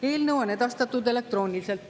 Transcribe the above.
Eelnõu on edastatud elektrooniliselt.